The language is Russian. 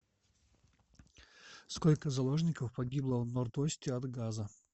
сколько заложников погибло в норд осте от газа